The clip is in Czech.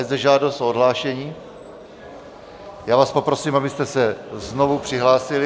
Je zde žádost o odhlášení, já vás poprosím, abyste se znovu přihlásili.